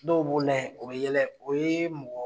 Dɔw b'o la yen o be yɛlɛ o ye mɔgɔ